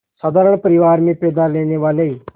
साधारण परिवार में पैदा लेने वाले